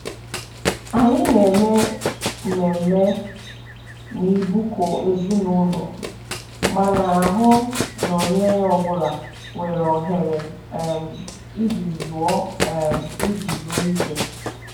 Anyị na-eme mmemme n'ịbụkọ ezinụlọ ma na-ahụ na onye ọ bụla nwere ohere um iji zuo um iji zuo ike.